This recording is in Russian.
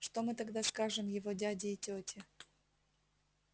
что мы тогда скажем его дяде и тете